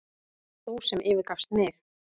Þú sem yfirgafst mig.